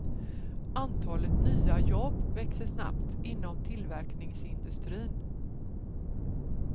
Antalet nya jobb växer snabbt inom tillverkningsindustrin.